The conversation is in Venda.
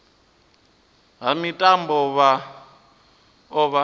ha mitambo vha o vha